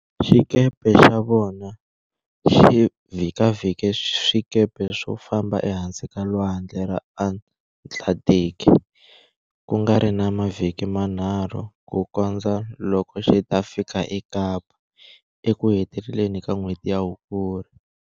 Xikepe xa vona xi vhikavhike swikepe swo famba ehansi kalwandle ra Atlanthiki, kuringana mavhiki manharhu ku kondzo loko xita fika eKapa, eku heteleni ka n'hweti ya hukuri.